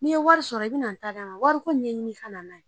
N'i ye wari sɔrɔ i be na n ta d'a ma wariko ɲɛɲini i ka na n'a ye